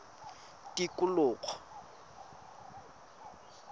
tikologo